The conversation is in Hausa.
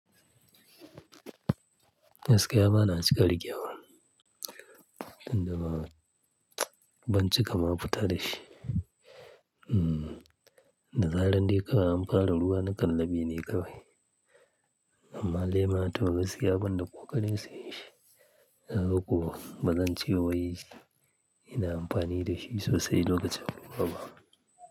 Gaskiya bana riƙewa inda ba ban cika ma, fita da shi. Da zaran dai kawai an fara nakan laɓe ne kawai. Amma lema to gaskiya ban da ƙoƙarin siyan shi. Kaga ko bazan ce wai ina amfani da shi sosai lokacin ruwa ba.